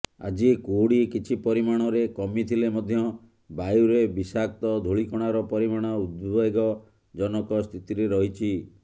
ଆଜି କୁହୁଡ଼ି କିଛି ପରିମାଣରେ କମିଥିଲେ ମଧ୍ୟ ବାୟୁରେ ବିଷାକ୍ତ ଧୂଳିକଣାର ପରିମାଣ ଉଦ୍ବେଗଜନକ ସ୍ଥିତିରେ ରହିଛି